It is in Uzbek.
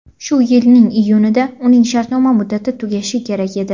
Shu yilning iyunida uning shartnoma muddati tugashi kerak edi.